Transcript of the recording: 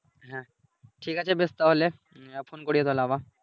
হ্যাঁ, ঠিক আছে বেশ তাহলে উম phone করিও তাহলে আবার।